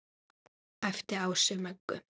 æpti Ási Möggu.